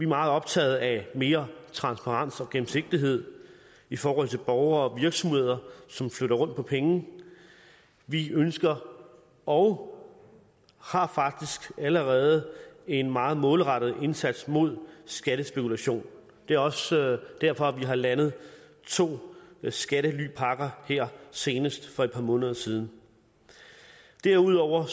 meget optaget af mere transparens og gennemsigtighed i forhold til borgere og virksomheder som flytter rundt på penge vi ønsker og har faktisk allerede en meget målrettet indsats mod skattespekulation det er også derfor vi har landet to skattelypakker her senest for et par måneder siden derudover